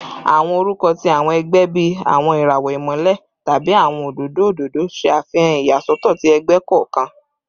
Awọn orukọ ti awọn ẹgbẹ bii “Awọn irawọ Imọlẹ” tabi “Awọn ododo ododo” ṣe afihan iyasọtọ ti ẹgbẹ kọọkan